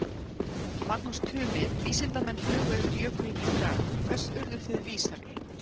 Magnús Tumi, vísindamenn flugu yfir jökulinn í dag, hvers urðuð þið vísari?